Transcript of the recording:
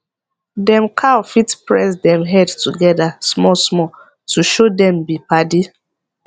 dem cow fit press dem head together small small to show dem be padi